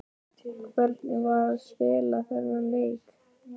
Hvernig var að spila þennan leik?